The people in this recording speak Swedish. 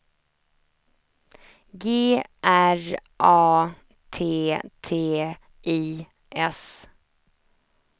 G R A T T I S